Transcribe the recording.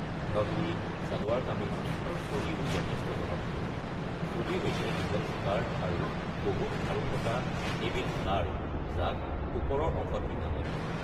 ঘঘৰী, ছালৱাৰ-কামিজ আৰু চোলিও যথেষ্ট জনপ্ৰিয়। চোলি হৈছে দীঘল স্কাৰ্ট আৰু বহুত খাৰু থকা এবিধ ছাৰ্ট যাক ওপৰৰ অংশত পিন্ধা হয়।